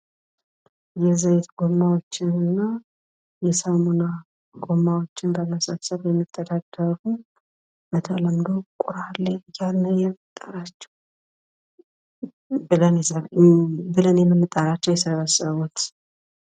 የዘይት ጎማዎችን እና የሳሙና ጎማዎችን በመሰብሰብ የሚተዳደሩ ፤ በተለምዶ ቁራሌ ብለን የምንጠራቸዉ የሰበሰቡት።